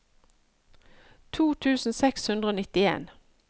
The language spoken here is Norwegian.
to tusen seks hundre og nittien